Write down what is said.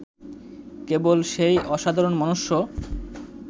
কেবল, সেই অসাধারণ মনুষ্য